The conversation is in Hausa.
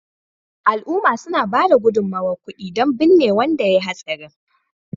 al’umma suna ba da gudummawar kudi don binne wanda ya yi hatsarin